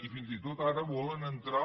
i fins i tot ara volen entrar